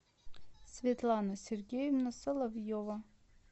светлана сергеевна соловьева